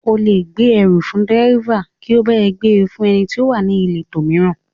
O lè gbèrú fún dẹ́ríbà kí ó bá ọ gbe fún ẹni tí ó wà níletò mìíràn